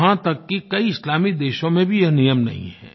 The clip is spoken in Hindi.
यहाँ तक कि कई इस्लामिक देशों में भी यह नियम नहीं है